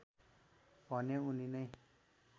भने उनी नै